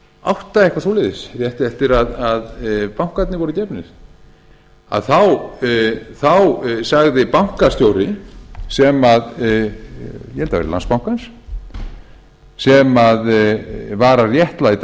átta eitthvað svoleiðis rétt eftir að bankarnir voru gefnir að þá sagði bankastjóri sem ég held að það hafi verið landsbankans sem var að réttlæta